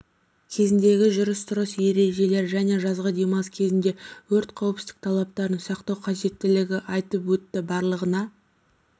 кезіндегі жүріс-тұрыс ережелері және жазғы демалыс кезінде өрт қауіпсіздік талаптарын сақтау қажеттілігі айтылып өтті барлығына